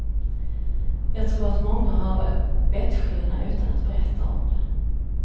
Jag tror att många har bettskena utan att berätta om det.